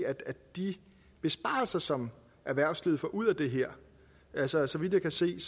de besparelser som erhvervslivet får ud af det her altså så vidt jeg kan se